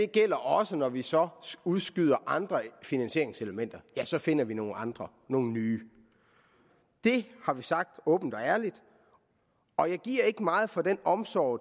gælder også når vi så udskyder andre finansieringselementer ja så finder vi nogle andre nogle nye det har vi sagt åbent og ærligt og jeg giver ikke meget for den omsorg